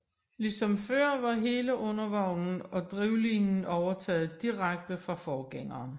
Ligesom før var hele undervognen og drivlinien overtaget direkte fra forgængeren